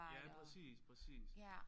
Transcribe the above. Ja præcis præcis